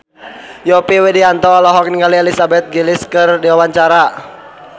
Yovie Widianto olohok ningali Elizabeth Gillies keur diwawancara